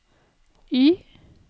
Y